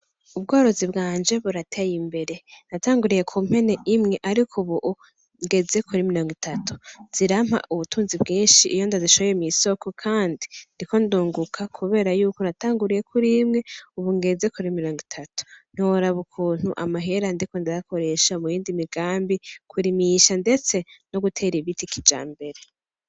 Ubworozi bwanje burateye imbere natanguriye ku mpene imwe, ariko, ubu ungeze kuri miliongo itatu zirampa ubutunzi bwinshi iyo ndazishoye mw'isoko, kandi ndi ko ndunguka, kubera yuko natanguriye kuri imwe, ubu ungeze kuri miliyongo itatu noraba ukuntu amahera ndiko ndarakoresha mu yindi migambi kurie misha, ndetse no gutera ibitikija mbere.